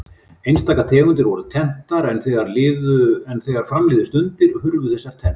Einstaka tegundir voru tenntar en þegar fram liðu stundir hurfu þessar tennur.